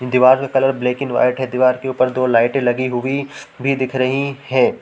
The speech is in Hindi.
दीवार का कलर ब्लैक एंड व्हाइट है दीवार के ऊपर दो लाइटें लगी हुई भी दिख रही हैं।